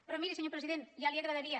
però miri senyor president ja li agradaria